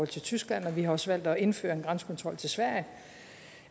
til tyskland og vi har også valgt at indføre en grænsekontrol til sverige